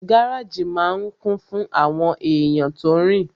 Gáràjì máa n kún fún àwọn èèyàn tó rin